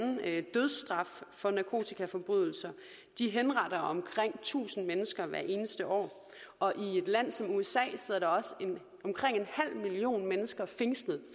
dødsstraf for narkotikaforbrydelser de henretter omkring tusind mennesker hvert eneste år og i et land som usa sidder der omkring en halv million mennesker fængslet